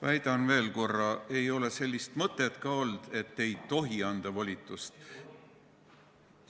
Väidan veel korra: ei ole sellist mõtet ka olnud, et ei tohi volitust anda.